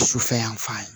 Sufɛ yan fan ye